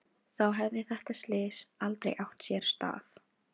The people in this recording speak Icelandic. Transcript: Þá hefði þetta slys aldrei átt sér stað.